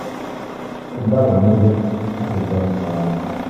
ó bà mí nínú jẹ́ láti gbọ́ nípa ọmọ rẹ